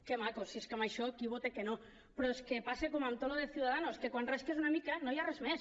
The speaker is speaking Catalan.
que maco si és que amb això qui vota que no però és que passa com amb tot el de ciudadanos que quan rasques una mica no hi ha res més